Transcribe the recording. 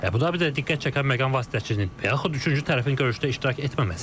Abu Dabidə diqqət çəkən məqam vasitəçinin, yaxud üçüncü tərəfin görüşdə iştirak etməməsi idi.